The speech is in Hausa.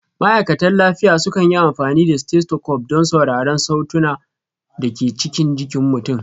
Ma'aikatan lafiya sukan yi amfani da stethoscope don sauraron sautunan da ke cikin jikin ku.